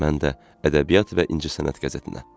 Mən də ədəbiyyat və incəsənət qəzetinə.